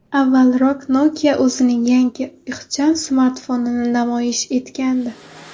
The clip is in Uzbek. Avvalroq Nokia o‘zining yangi ixcham smartfonini namoyish etgandi .